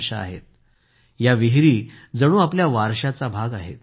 अशा विहिरी जणू आपल्या वारशाच्या भाग आहेत